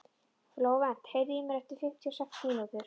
Flóvent, heyrðu í mér eftir fimmtíu og sex mínútur.